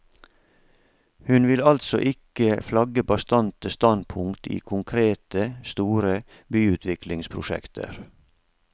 Hun vil altså ikke flagge bastante standpunkter i konkrete, store byutviklingsprosjekter.